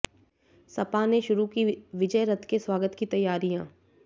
सपा ने शुरू की विजय रथ के स्वागत की तैयारियां